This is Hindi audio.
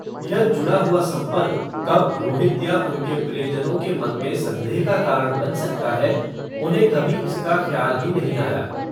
यह जुडा हुआ संपर्क, कब रोहित या उनके प्रियजनों के मन में, संदेह, का कारण, बन सकता है, उन्हे कभी इसका, ख्याल ही नही आया